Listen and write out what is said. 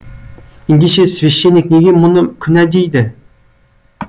ендеше священник неге мұны күнә дейді